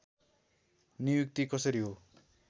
नियुक्ति कसरी हो